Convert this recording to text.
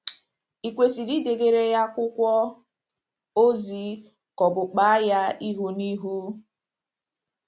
Ì kwesịrị idegara ya akwụkwọ ozi ka ọ̀ bụ kpaa ya ihu na ihu?